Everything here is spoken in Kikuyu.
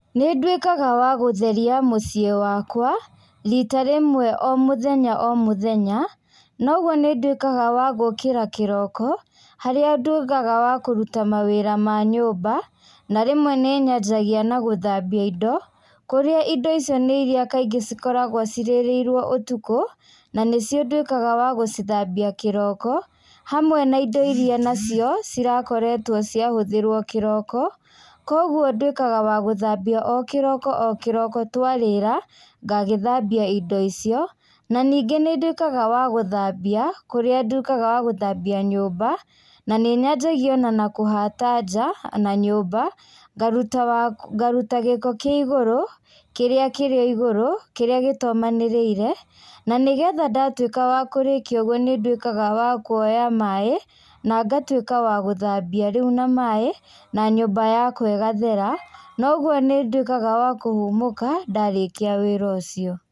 Nĩnduĩkaga wa gũtheria mũciĩ wakwa, rita rĩmwe o mũthenya o mũthenya, na ũguo nĩnduĩkaga wa gũkĩra kĩroka, harĩa ndugaga wa kũruta mawĩra ma nyũmba, na rĩmwe nĩnyanjagia na gũthambia indo, kũrĩa indo icio nĩ iria kaingĩ cikoragwo cirĩrĩirwo ũtukũ, na nĩcio nduĩkaga wa gũcithambia kĩroko, hamwe na indo iria nacio, cirakoetwo ciahũthĩrwo kĩroko, koguo nduĩkaga wagũthambia o kĩroko o kĩroko twarĩra, ngagĩthambia indo icio, na nĩngĩ nĩnduĩkaga wa gũthambia, kũrĩa nduĩkaga wa gũthambia nyũmba, na nĩnyanjagia ona na kũhata nja, na nyũmba, ngaruta ngaruta gĩko kĩa igũrũ, kĩrĩa kĩrĩ igũrũ, kĩrĩa gĩtomanĩrĩire, na nĩgetha ndatuĩka wa kũrĩkia ũguo nĩnduĩkaga wa kuoya maĩ, nangatuĩka wa gũthambia rĩu na maĩ, na nyũmba yakwa ĩgathera, na ũguo nĩnduĩkaga wa kũhũmũka ndarĩkia wĩra ũcio.